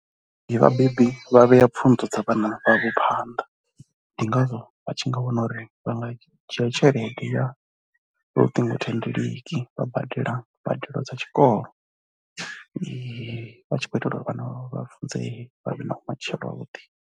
Ndi vhabebi vha vhea pfhunzo dza vhana vhavho phanḓa ndi ngazwo vha tshi nga wana uri vha nga dzhia tshelede ya luṱingothendeleki vha badela mbadelo dza tshikolo vha tshi khou itelwa uri vhana vhavho vha funzee vha vhe na vhumatshelo havhuḓi.